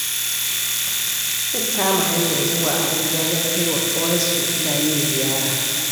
Sun kama hanyar zuwa Abuja don kai wa ƙawarsu Lami ziyara